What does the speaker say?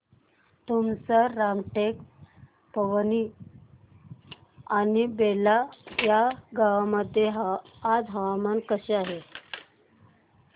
तुमसर रामटेक पवनी आणि बेला या गावांमध्ये आज हवामान कसे आहे